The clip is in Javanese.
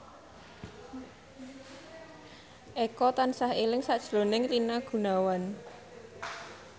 Eko tansah eling sakjroning Rina Gunawan